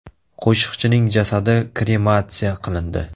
Qo‘shiqchining jasadi krematsiya qilindi.